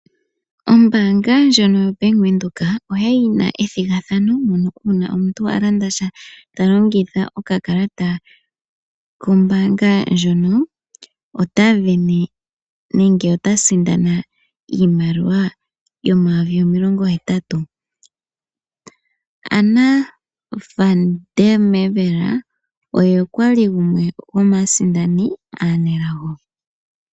Ombaanga ndjoka yaBank Windhoek oya li yi na ethigathano uuna omuntu a landa sha ta longitha okakalata kombaanga ndjono, ota vene nenge ota sindana iimaliwa yomayovi omilongohetatu. Anna Van der mer Merwe oye kwa li gumwe gwomaasindani aanelago.